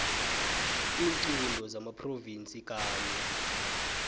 iinqunto zamaphrovinsi kanye